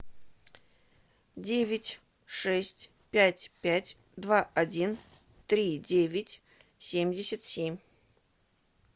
девять шесть пять пять два один три девять семьдесят семь